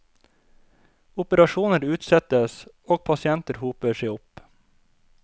Operasjoner utsettes, og pasienter hoper seg opp.